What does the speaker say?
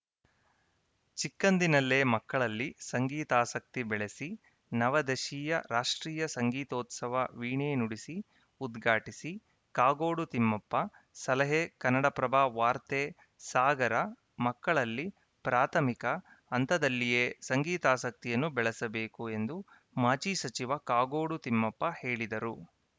ಚಿಕ್ಕಂದಿನಲ್ಲೇ ಮಕ್ಕಳಲ್ಲಿ ಸಂಗೀತಾಸಕ್ತಿ ಬೆಳೆಸಿ ನವದಶೀಯ ರಾಷ್ಟ್ರೀಯ ಸಂಗೀತೋತ್ಸವ ವೀಣೆ ನುಡಿಸಿ ಉದ್ಘಾಟಿಸಿ ಕಾಗೋಡು ತಿಮ್ಮಪ್ಪ ಸಲಹೆ ಕನ್ನಡಪ್ರಭ ವಾರ್ತೆ ಸಾಗರ ಮಕ್ಕಳಲ್ಲಿ ಪ್ರಾಥಮಿಕ ಹಂತದಲ್ಲಿಯೇ ಸಂಗೀತಾಸಕ್ತಿಯನ್ನು ಬೆಳೆಸಬೇಕು ಎಂದು ಮಾಜಿ ಸಚಿವ ಕಾಗೋಡು ತಿಮ್ಮಪ್ಪ ಹೇಳಿದರು